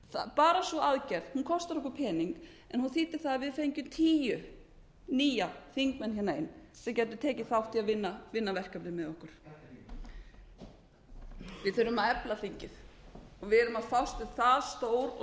bara sú aðgerð kostar okkur pening en hún þýddi að við fengjum tíu nýja þingmenn hingað inn sem gætu tekið þátt í að vinna verkefnin með okkur við þurfum að efla þingið við erum að fást við það stór og